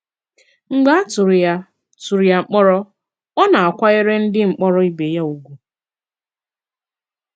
Mgbe a tụrụ ya tụrụ ya mkpòrọ, ọ na-àkwànyèrè ndị mkpòrọ ìbè ya ùgwù.